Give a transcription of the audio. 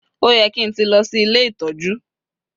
oye kin ti lo si ile itoju